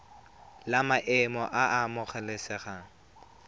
la maemo a a amogelesegang